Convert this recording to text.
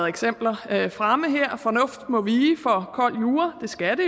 eksempler fremme her fornuft må vige for kold jura det skal